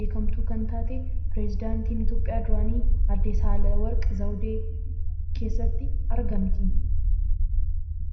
beekamtuu kan taatee pireezidaantii Itoophiyaa duraanii kan taatee aadde Saayileewarq Zawudeen ni jirti.